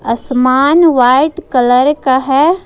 असमान white colour का है।